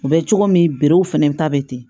U bɛ cogo min w fana ta bɛ ten